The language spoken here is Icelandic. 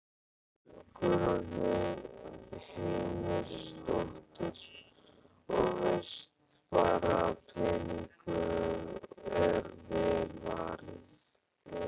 Guðrún Heimisdóttir: Og veist bara að peningunum er vel varið?